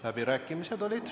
Läbirääkimised olid.